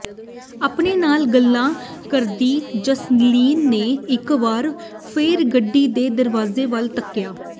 ਆਪਣੇ ਨਾਲ ਗੱਲਾਂ ਕਰਦੀ ਜਸਲੀਨ ਨੇ ਇਕ ਵਾਰ ਫੇਰ ਗੱਡੀ ਦੇ ਦਰਵਾਜ਼ੇ ਵੱਲ ਤੱਕਿਆ